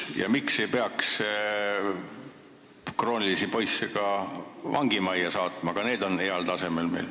Ja miks ei peaks krooniliselt kõrvale hoidvaid poisse saatma ka vangimajja, mis on meil heal tasemel?